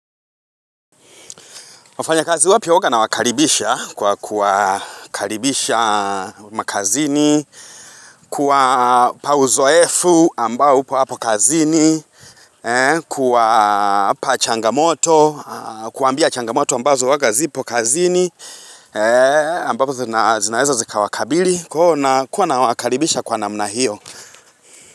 Wafanyakazi wake huwa nawakaribisha kwa kuwakaribisha kazini, kuwpa uzoefu ambao upo hapo kazini, kuwapa changamoto, kuwaambia changamoto ambazo zipo kazini, ambazo zinaweza zikawakabili, kwa hiyo nawakaribisha kwa namna hiyo.